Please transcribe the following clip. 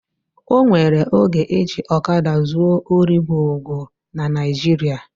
O nwere oge eji ọkada zuo ori gwo gwo na Naijiria